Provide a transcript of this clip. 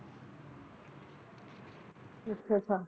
Christopher